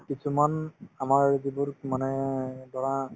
কিছুমান আমাৰ যিবোৰ মানে ধৰা